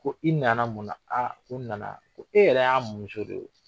Ko i nana mun na ko n nana ko e yɛrɛ y'a muso de ye.